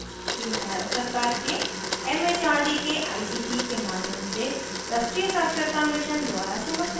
यह भारत सरकार के it it आर दी के आई सी टी के माध्यम से राष्ट्रीय साक्षरता mission द्वारा समर्थित है